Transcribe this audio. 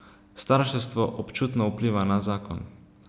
Starševstvo občutno vpliva na zakon.